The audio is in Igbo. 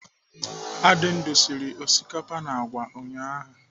Adindu sịrị osikapa na àgwà ụnyaahụ.